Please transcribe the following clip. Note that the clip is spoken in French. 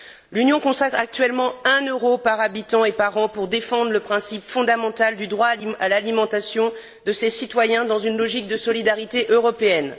L'Union consacre actuellement 1 euro par habitant et par an pour défendre le principe fondamental du droit à l'alimentation de ses citoyens dans une logique de solidarité européenne.